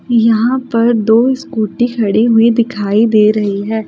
यहां पर दो स्कूटी खड़ी हुई दिखाई दे रही है।